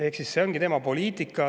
Ehk siis see ongi tema poliitika.